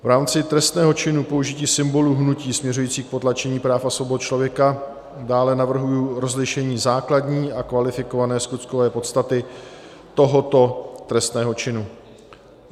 V rámci trestného činu použití symbolů hnutí směřujícího k potlačení práv a svobod člověka dále navrhuji rozlišení základní a kvalifikované skutkové podstaty tohoto trestného činu.